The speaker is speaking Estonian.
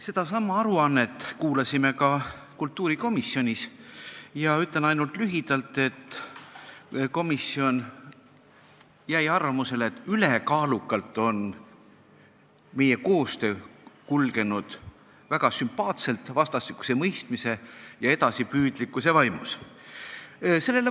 Sedasama aruannet kuulasime ka kultuurikomisjonis ja ütlen lühidalt, et komisjon jäi arvamusele, et ülekaalukalt on meie koostöö kulgenud väga sümpaatselt, vastastikuse mõistmise ja edasipüüdlikkuse vaimus.